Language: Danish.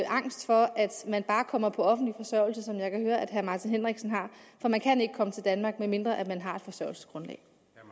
angst for at man bare kommer på offentlig forsørgelse som jeg kan høre at herre martin henriksen har for man kan ikke komme til danmark medmindre man har et forsørgelsesgrundlag